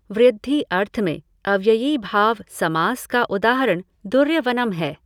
वृद्धि अर्थ में अव्ययीभाव समास का उदाहरण दुर्यवनम् है।